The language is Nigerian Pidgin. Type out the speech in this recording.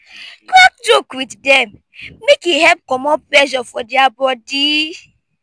crack joke wit dem mek e help comot pressure for dia body